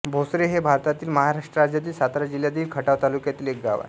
भोसरे हे भारतातील महाराष्ट्र राज्यातील सातारा जिल्ह्यातील खटाव तालुक्यातील एक गाव आहे